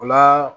O la